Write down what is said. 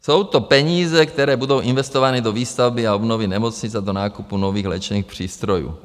Jsou to peníze, které budou investovány do výstavby a obnovy nemocnic a do nákupu nových léčebných přístrojů.